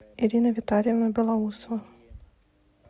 ирина витальевна белоусова